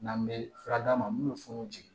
N'an bɛ fura d'a ma mun bɛ funu